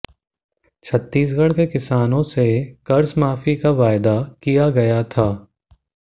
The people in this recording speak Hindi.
छत्तीसगढ़ के किसानों से कर्जमाफी का वायदा किया गया था